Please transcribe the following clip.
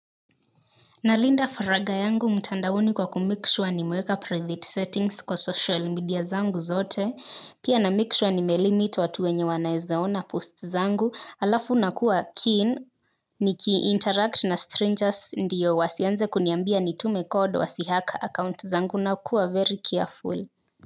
Nalinda faragha yangu mtandaoni kwa kumekishuwa nimeweka private settings kwa social media zangu zote, pia namekishuwa nimelimit watu wenye wanaeza ona post zangu, alafu nakuwa keen, niki interact na strangers ndiyo wasianze kuniambia nitume code wasihack account zangu na kuwa very careful.